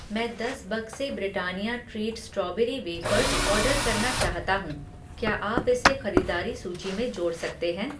मैं दस बक्से Britannia treat strawberry wafers order करना चाहता हूँ, क्या आप इसे खरीदारी सूची में जोड़ सकते हैं?